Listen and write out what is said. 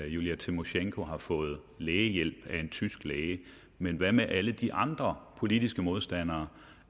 julia tymosjenko har fået lægehjælp af en tysk læge men hvad med alle de andre politiske modstandere